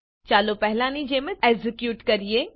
ચાલો પહેલાની જેમ એક્ઝેક્યુટ કરીએ